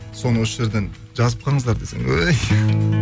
соны осы жерден жазып қалыңыздар десей өй